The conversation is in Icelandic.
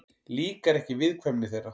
Líkar ekki viðkvæmni þeirra.